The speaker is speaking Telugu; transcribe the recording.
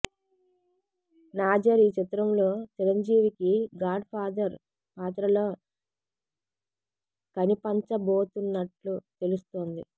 నాజర్ ఈ చిత్రంలో చిరంజీవికి గాడ్ ఫాదర్ పాత్రలో కనిపంచబోతున్నట్లు తెలుస్తోంది